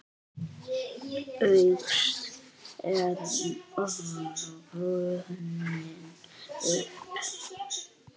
Ágúst er runninn upp.